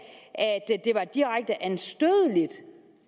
det var direkte anstødeligt